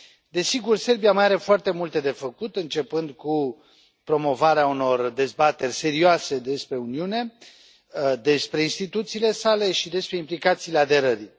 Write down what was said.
Desigur, Serbia mai are foarte multe de făcut, începând cu promovarea unor dezbateri serioase despre Uniune, despre instituțiile sale și despre implicațiile aderării.